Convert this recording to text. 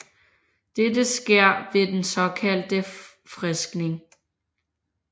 Dette sker ved den såkaldte friskning